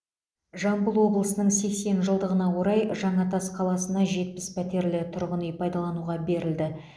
жамбыл облысының сексен жылдығына орай жаңатас қаласына жетпіс пәтерлі тұрғын үй пайдалануға берілді